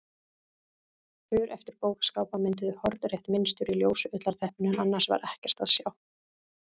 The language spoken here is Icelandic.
För eftir bókaskápa mynduðu hornrétt mynstur í ljósu ullarteppinu en annars var ekkert að sjá.